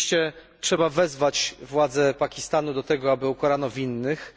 Oczywiście trzeba wezwać władze Pakistanu do tego, aby ukarano winnych,